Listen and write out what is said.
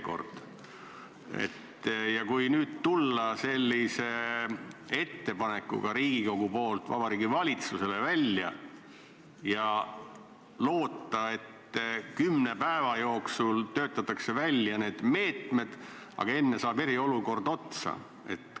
Kui nüüd Riigikogu tuleb välja sellise ettepanekuga Vabariigi Valitsusele ja loodab, et kümne päeva jooksul töötatakse need meetmed välja, aga kui enne saab eriolukord otsa, mis siis?